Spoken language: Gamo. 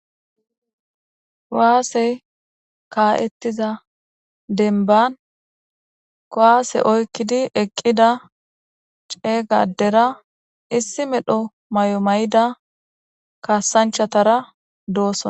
waasey kaa7ettiza denban kowaase oykkidi eqqida ceeygadera issi medho may7o may7ida kaasanchatara doossona